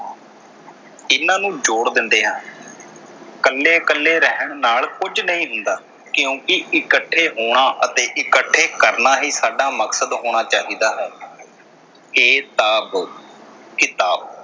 ਇਨ੍ਹਾਂ ਨੂੰ ਜੋੜ ਦਿੰਦੇ ਹਨ। ਕੱਲੇ ਕੱਲੇ ਰਹਿਣ ਨਾਲ ਕੁਝ ਨਹੀਂ ਹੁੰਦਾ ਕਿਉਂਕਿ ਇਕੱਠੇ ਹੋਣਾ ਅਤੇ ਇਕੱਠੇ ਕਰਨਾ ਹੀ ਸਾਡਾ ਮਕਸਦ ਹੋਣਾ ਚਾਹੀਦਾ। ਕਿਤਾਬ